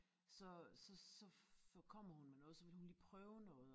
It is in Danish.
Så så så for kommer hun med noget så vil hun lige prøve noget